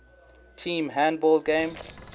team handball game